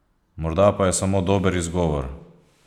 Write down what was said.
Morda pa je samo dober izgovor?